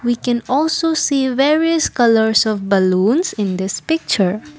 we can also see various colours of balloons in this picture.